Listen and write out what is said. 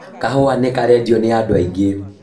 Kahua nĩ karendwo nĩ andũ aingĩ